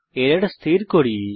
error স্থির করি